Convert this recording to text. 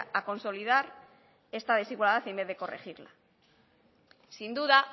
a consolidar esta desigualdad en vez de corregirla sin duda